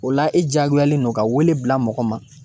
O la e diyagoyalen don ka weele bila mɔgɔ ma